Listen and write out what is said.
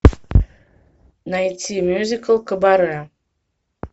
найти мюзикл кабаре